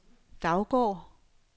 Daugård